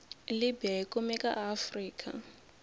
libya yikumeka aafrika